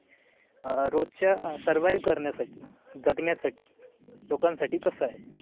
अह रोजच्या survive करण्यासाठी जगण्या साठी लोकांसाठी कसं आहे?